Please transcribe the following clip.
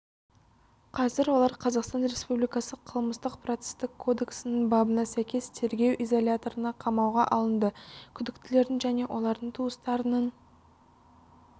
қазір олар қазақстан республикасы қылмыстық-процестік кодексінің бабына сәйкес тергеу изоляторына қамауға алынды күдіктілердің және олардың туыстарының